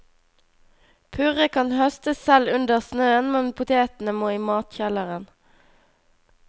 Purre kan høstes selv under snøen, men potetene må i matkjelleren.